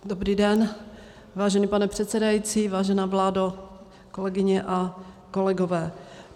Dobrý den, vážený pane předsedající, vážená vládo, kolegyně a kolegové.